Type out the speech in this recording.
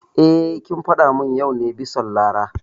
Eh, kin faɗa mun yau ne bison Lara